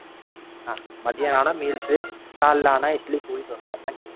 மதியம் ஆனா Meals காலைல ஆனா இட்லி, பூரி, தோசை அதான் கிடைக்கும்.